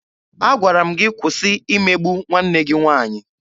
Agwara m gị kwụsị imegbu nwanne gị nwaanyị!